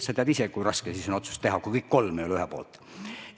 Sa tead ise, kui raske siis on otsust teha, kui kõik kolm ei ole ühe poolt.